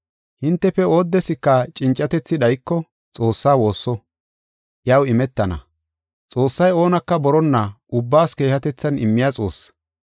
Hintefe oodeska cincatethi dhayiko Xoossaa woosso. Iyaw imetana. Xoossay oonaka boronna ubbaas keehatethan immiya Xoosse.